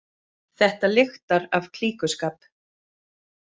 Þetta lyktar af klíkuskap